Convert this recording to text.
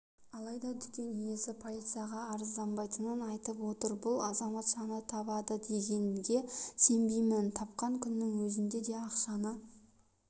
алайда дүкен иесі полицияға арызданбайтынын айтып отыр бұл азаматшаны табады дегенге сенбеймін тапқан күннің өзінде ақшаны